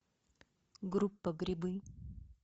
группа грибы